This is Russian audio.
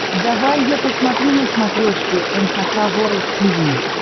давай я посмотрю на смотрешке эн эйч кей волд ти ви